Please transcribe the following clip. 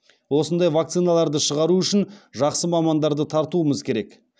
осындай вакциналарды шығару үшін жақсы мамандарды тартуымыз керек